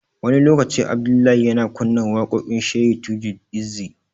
Wani lokaci, Abdullahi yana kunna waƙoƙin Shehi Tajul-izzi.